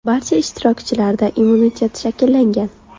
Barcha ishtirokchilarda immunitet shakllangan.